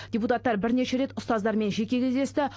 депутаттар бірнеше рет ұстаздармен жеке кездесті